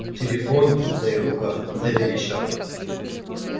телефон в моих руках заверещал